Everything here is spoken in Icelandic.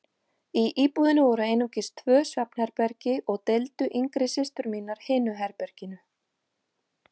Í íbúðinni voru einungis tvö svefnherbergi og deildu yngri systur mínar hinu herberginu.